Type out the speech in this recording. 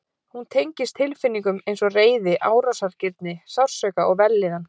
Hún tengist tilfinningum eins og reiði, árásargirni, sársauka og vellíðan.